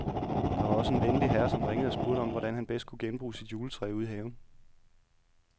Der var også en venlig herre, som ringede og spurgte om, hvordan han bedst kunne genbruge sit juletræ ude i haven.